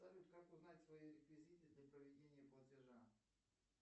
салют как узнать свои реквизиты для проведения платежа